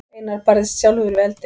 Einar barðist sjálfur við eldinn.